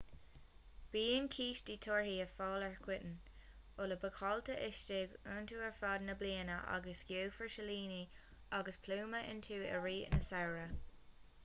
bíonn cístí torthaí ar fáil go coitinn úlla bácáilte istigh iontu ar fud na bliana agus gheofar silíní agus pluma iontu i rith an tsamhraidh